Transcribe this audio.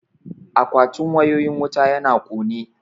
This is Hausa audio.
Akwatin wayoyin wuta yana kone